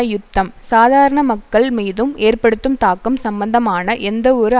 யுத்தம் சதாரண மக்கள் மீதும் ஏற்படுத்தும் தாக்கம் சம்பந்தமான எந்வொரு